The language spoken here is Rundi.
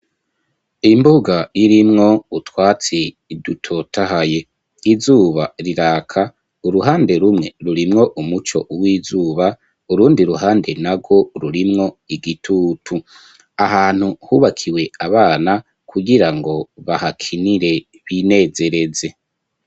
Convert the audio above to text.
Imbuga, irimwo utwatsi, dutotahaye; izuba riraka, uruhande rumwe, rurimwo umuco, w'izuba; urundi ruhande nagwo, rurimwo igitutu, ahantu hubakiwe abana, kugira ngo bahakinire, binezereze.